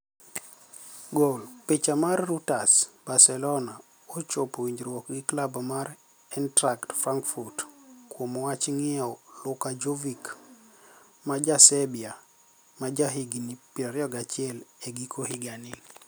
(Goal) Picha mar Reuters Barcelonia ochopo winijruok gi klabu mar Einitracht Franikfurt kuom wach nig'iewo Luka Jovic, ma ja Serbia ma jahiginii 21, e giko higanii.